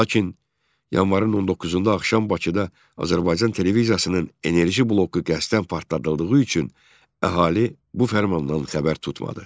Lakin yanvarın 19-da axşam Bakıda Azərbaycan televiziyasının enerji bloku qəsdən partladıldığı üçün əhali bu fərmandan xəbər tutmadı.